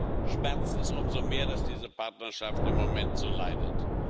Aber deshalb schmerzt es umso mehr, dass diese Partnerschaft im Moment so leidet.